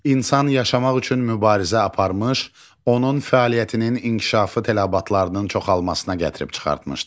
İnsan yaşamaq üçün mübarizə aparmış, onun fəaliyyətinin inkişafı tələbatlarının çoxalmasına gətirib çıxartmışdı.